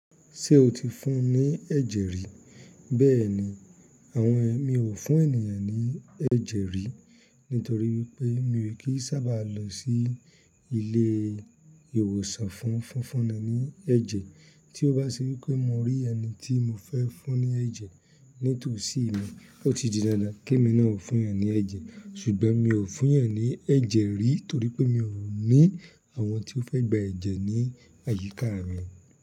Ṣé o ti fún ní ẹ̀jẹ̀ rí? Bẹ́ẹ̀ni, àwọn ẹ̀mí ò fún ènìyàn ní ẹ̀jẹ̀ rí, nítorí wípé mi rí pé kì í sábà lọ sí ilé ìwòsàn fún fífúnni ní ẹ̀jẹ̀. Tí ó bá sí wípé mo rí ẹni tí mo fẹ́ fún ní ẹ̀jẹ̀ nítòsí mi, ó ti di dandan kí mi náà fún ìyẹn ní ẹ̀jẹ̀. Ṣùgbọ́n mi ò fún yan ní ẹ̀jẹ̀ rí torí pé mi ò ní àwọn tí ó fẹ́ gba ẹ̀jẹ̀ ní àyíká mi.